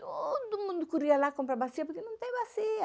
Todo mundo corria lá comprar bacia, porque não tem bacia.